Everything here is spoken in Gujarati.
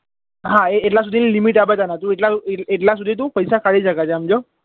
હા એ એટલા સુધી ની limit આપે તને તું એટલા એ એટલા સુધી તું પૈસા કાઢી શકે છે સમજ્યો